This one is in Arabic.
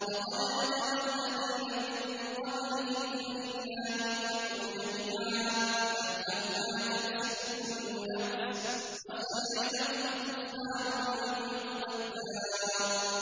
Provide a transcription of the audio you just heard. وَقَدْ مَكَرَ الَّذِينَ مِن قَبْلِهِمْ فَلِلَّهِ الْمَكْرُ جَمِيعًا ۖ يَعْلَمُ مَا تَكْسِبُ كُلُّ نَفْسٍ ۗ وَسَيَعْلَمُ الْكُفَّارُ لِمَنْ عُقْبَى الدَّارِ